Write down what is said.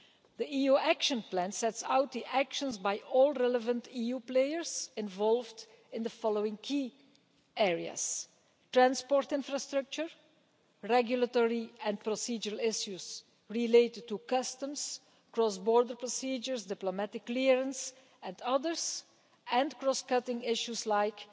The EU Action Plan sets out the actions by all relevant EU players involved in the following key areas transport infrastructure, regulatory and procedural issues related to customs, cross border procedures, diplomatic clearance and others, and cross cutting issues like